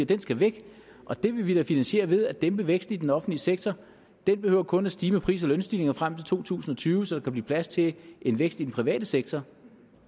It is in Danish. den skal væk og det vil vi finansiere ved at dæmpe væksten i den offentlige sektor den behøver kun at stige med pris og lønstigninger frem til to tusind og tyve så der kan blive plads til en vækst i den private sektor